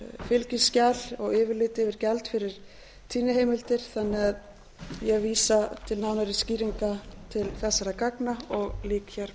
fylgiskjal og yfirlit yfir gjald fyrir tíðniheimildir sem ég vísa til nánari skýringa til þessara gagna og lýk hér